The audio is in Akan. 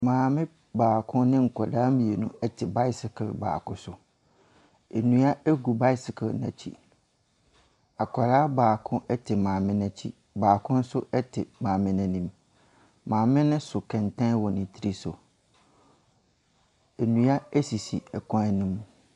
Maame baako ne nkwadaa mmienu te bicycle baako so. Nnua gu bicycle no akyi. Akwadaa baako te maame no akyi. Baako nso te maame no anim. Maame no so kɛntɛn wɔ ne tiri so. Nnua sisi kwan no mu.